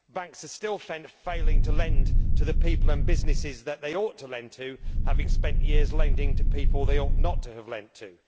Banks are still failing to lend to the people and businesses that they ought to lend to, having spent years lending to people they ought not to have lent to.